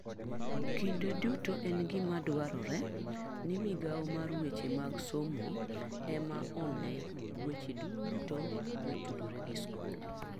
Kinde duto en gima dwarore ni migao mar weche mag somo ema one weche duto motudore gi skul.